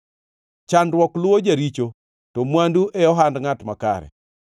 Chandruok luwo jaricho, to mwandu e ohand ngʼat makare.